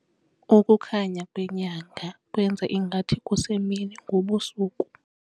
Ukukhanya kwenyanga kwenze ngathi kusemini ngobusuku.